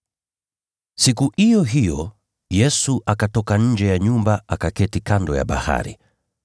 Siku iyo hiyo Yesu akatoka nje ya nyumba, akaketi kando ya bahari.